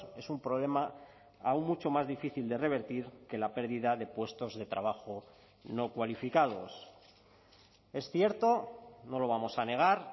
es un problema aún mucho más difícil de revertir que la pérdida de puestos de trabajo no cualificados es cierto no lo vamos a negar